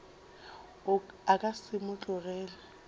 a ka se mo tlogele